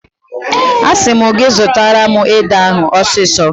Asị m gị zụtara m ede ahụ ọsọ ọsọ!